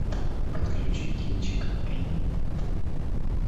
подключи кинчик энни